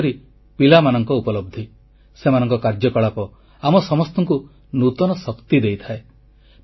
ବିଶେଷକରି ପିଲାମାନଙ୍କ ଉପଲବ୍ଧି ସେମାନଙ୍କ କାର୍ଯ୍ୟକଳାପ ଆମ ସମସ୍ତଙ୍କୁ ନୂତନ ଶକ୍ତି ଦେଇଥାଏ